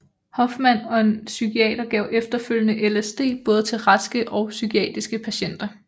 Hoffman og en psykiater gav efterfølgende LSD både til raske og psykiatriske patienter